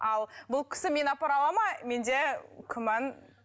ал бұл кісі мені апара алады ма менде күмән